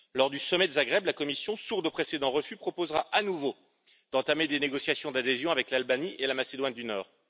Lors du sommet de Zagreb, la Commission, sourde aux précédents refus, proposera à nouveau d'entamer des négociations d'adhésion avec l'Albanie et la Macédoine du Nord.